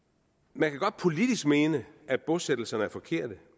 man kan godt politisk mene at bosættelserne er forkerte